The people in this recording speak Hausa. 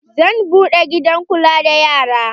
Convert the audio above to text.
Zan buɗe gidan kula da yara.